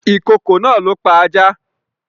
Ìkokò náà ló pa ajá